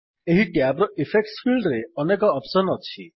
ଏହି ଟ୍ୟାବ୍ ର ଇଫେକ୍ଟସ୍ ଫିଲ୍ଡରେ ଅନେକ ଅପ୍ସସନ୍ ଅଛି